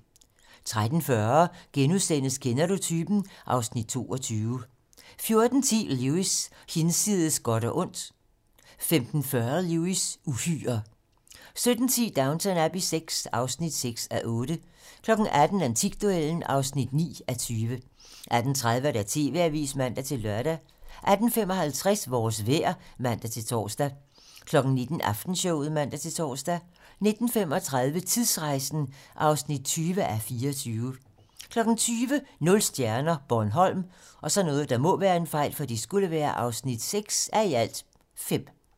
13:40: Kender du typen? (Afs. 22)* 14:10: Lewis: Hinsides godt og ondt 15:40: Lewis: Uhyrer 17:10: Downton Abbey VI (6:8) 18:00: Antikduellen (9:20) 18:30: TV-Avisen (man-lør) 18:55: Vores vejr (man-tor) 19:00: Aftenshowet (man-tor) 19:35: Tidsrejsen (20:24) 20:00: Nul stjerner - Bornholm (6:5)